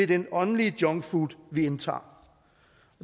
den åndelig junkfood vi indtager